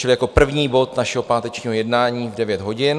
Čili jako první bod našeho pátečního jednání v 9 hodin.